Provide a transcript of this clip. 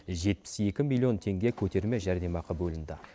жетпіс екі миллион теңге көтерме жәрдемақы бөлінді